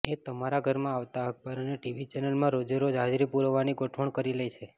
એ તમારા ઘરમાં આવતા અખબાર અને ટીવી ચેનલમાં રોજેરોજ હાજરી પુરાવવાની ગોઠવણ કરી લે છે